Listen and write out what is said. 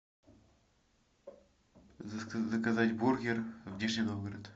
заказать бургер в нижний новгород